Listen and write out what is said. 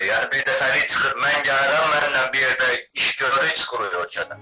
Yəni bir dəfəlik çıxıb, mən gəlirəm, mənimlə bir yerdə iş görürük, çıxırıq ölkədən.